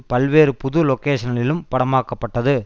பல்வேறு புது லொகேஷன்களிலும் படமாக்க பட்டது